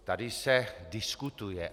Tady se diskutuje.